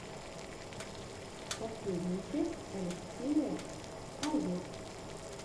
последняя часть алексея аюр